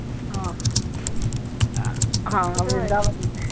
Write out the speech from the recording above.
ਹਾਂ, ਅਹ ਹਾਂ ਵ੍ਰਿੰਦਾਵਨ।